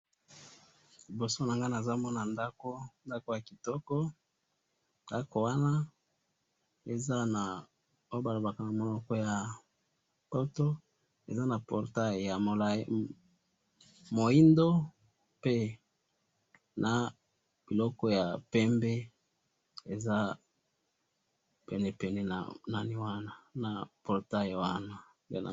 liboso nanga nazomona ndaku ndaku ya kitoko ndaku wana eza na oyo balobaka na munoko ya poto eza na portail ya molayi ya mwindo na biloko ya molayi ya pembe pene pene na portail wana